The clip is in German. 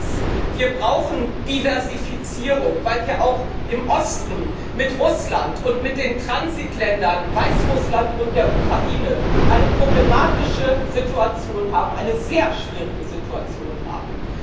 Ich weiß, wir brauchen Diversifizierung, weil wir auch im Osten mit Russland und den Transitländern, Weißrussland und der Ukraine, eine problematische und sehr schwierige Situation haben.